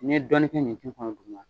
Ni ye dɔɔnin kɛ ɲinti kɔnɔ duguma